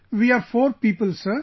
We are four people Sir